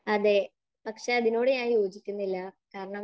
അതേ. പക്ഷെ അതിനോട് ഞാൻ യോജിക്കുന്നില്ല, കാരണം, .